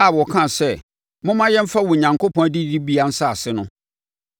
a wɔkaa sɛ, “Momma yɛmfa Onyankopɔn adidibea nsase no.”